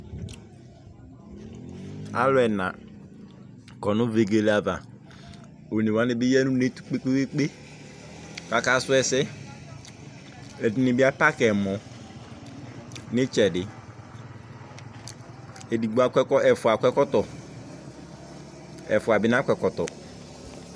alu ɛna kɔ nu vegele ava, one wʋani bi ya nu unetu kpekpekpe kaka suɛsɛ , ɛdini bi apaki emɔ nu itsɛdi ku ɛfua akɔ ɛkɔtɔ ɛfuɛ bi na kɔ ɛkɔtɔ